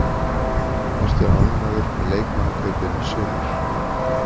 Ertu ánægður með leikmannakaupin í sumar?